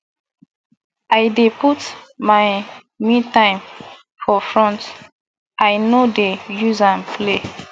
i dey put my metime for front i no dey use am play